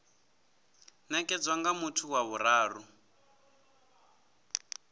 nekedzwa nga muthu wa vhuraru